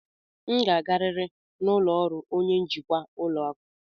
M ga-agarịrị n'ụlọ ọrụ onye njikwa ụlọ akụ.